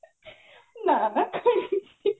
ନା ନା